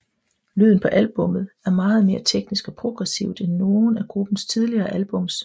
Lyden på albummet er meget mere teknisk og progressivt end nogen af gruppens tidligere albums